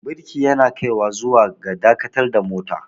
birki yana kaiwa zuwa ga dakatar da mota